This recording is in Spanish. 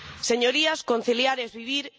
Señorías, conciliar es vivir.